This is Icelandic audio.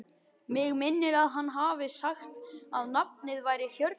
Mig minnir að hann hafi sagt að nafnið væri Hjördís.